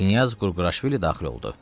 Knyaz Qurguraşvili daxil oldu.